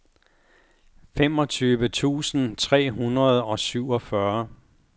femogtyve tusind tre hundrede og syvogfyrre